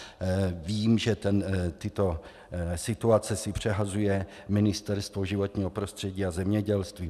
Vím, že tyto situace si přehazuje Ministerstvo životního prostředí a zemědělství.